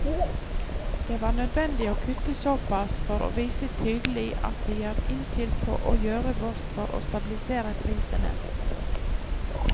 Det var nødvendig å kutte såpass for å vise tydelig at vi er innstilt på å gjøre vårt for å stabilisere prisene.